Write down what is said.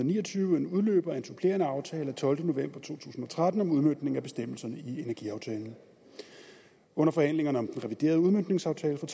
ni og tyve en udløber af en supplerende aftale af tolvte november to tusind og tretten om udmøntning af bestemmelserne i energiaftalen under forhandlingerne om den reviderede udmøntningsaftale fra